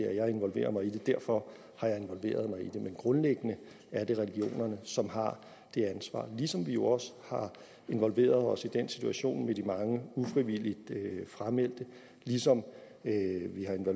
at jeg involverer mig i det derfor har jeg involveret mig i det men grundlæggende er det regionerne som har det ansvar ligesom vi jo også har involveret os i den situation med de mange ufrivilligt frameldte og ligesom